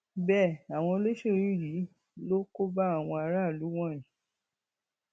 bẹẹ àwọn olóṣèlú yìí ló kó bá àwọn aráàlú wọnyí